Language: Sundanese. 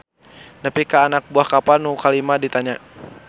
Nepi ka anak buah kapal nu kalima ditanya.